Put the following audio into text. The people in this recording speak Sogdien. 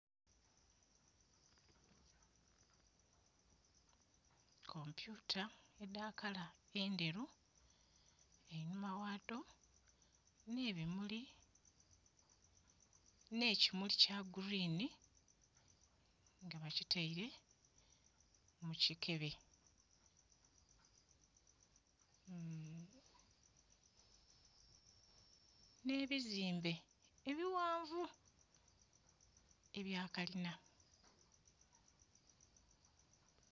Kompyuta edha kala endheru. Einhuma ghadho nh'ebimuli, nh'ekimuli kya guliini nga bakitaile mu kikebe, nh'ebizimbe ebighanvu ebya kalina.